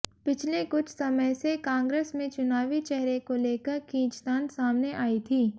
पिछले कुछ समय से कांग्रेस में चुनावी चेहरे को लेकर खींचतान सामने आई थी